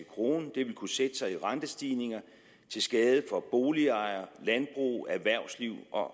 krone det ville kunne sætte sig i rentestigninger til skade for boligejere landbrug erhvervsliv og